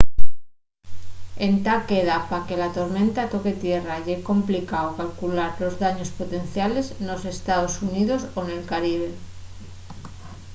entá queda pa que la tormenta toque tierra y ye complicao calcular los daños potenciales nos estaos xuníos o nel caribe